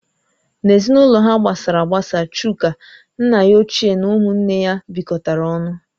N'ezinụlọ ha gbasara agbasa Chuka, nna ya ochie na ụmụ nne ya bikotara ọnụ